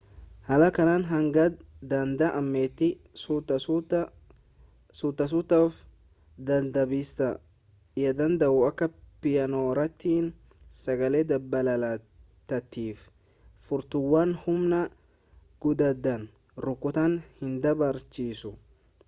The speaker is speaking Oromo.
haala kanaan hanga danda'ametti suuta suuta of dadhabsiista yaadadhu akka piyaanoorrattii sagalee dabalataatiif furtuuwwan humna guddaadhaan rukutuun hinbarbaachisu